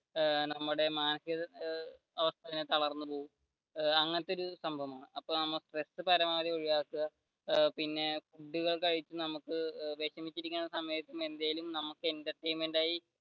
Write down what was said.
ഏർ മാനസിക തളർന്നു പോവും അങ്ങനത്തെ ഒരു സംഭവമാണ് അപ്പോ നമ്മ സ്ട്രെസ് പരമാവധി ഒഴിവാക്കുക പിന്നെ ഫുഡുകൾ കഴിച്ചു